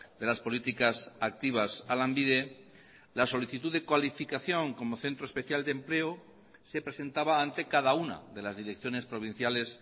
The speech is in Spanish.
de las políticas activas a lanbide la solicitud de cualificación como centro especial de empleo se presentaba ante cada una de las direcciones provinciales